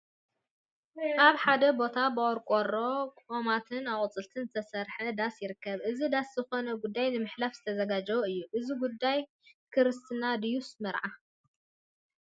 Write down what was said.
አብ ሐደ ቦታ ብቆርቆሮ፣ ቆማትን አቁፅልቲን ዝተሰርሐ ዳስ ይርከብ፡፡ እዚ ዳስ ዝኮነ ጉዳይ ንምሕላፍ ዝተዘጋጀወ እዩ፡፡ እዚ ጉዳይ ክርስትና ድዩ መርዓ?